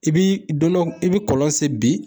I bi don dɔ i bi kɔlɔn sen bi